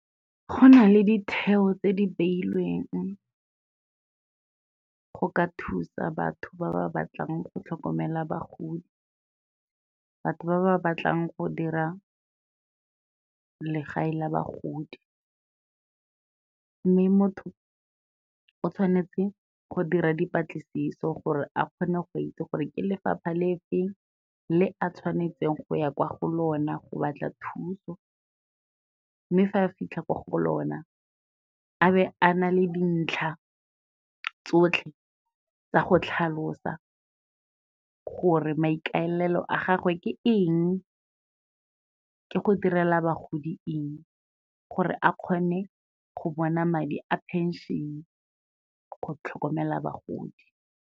Go na le ditheo tse di beilweng go ka thusa batho ba ba batlang go tlhokomela bagodi, batho ba ba batlang go dira legae la bagodi. Mme motho o tshwanetse go dira dipatlisiso gore a kgone go itse gore ke lefapha le feng le a tshwanetseng go ya kwa go lona go batla thuso, mme fa a fitlha kwa go lona a be a na le dintlha tsotlhe tsa go tlhalosa gore maikaelelo a gagwe ke eng, ke go direla bagodi eng, gore a kgone go bona madi a phenšene go tlhokomela bagodi.